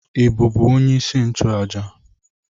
Ị bụ onye isi nchụàjà?